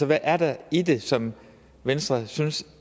hvad er der i det som venstre synes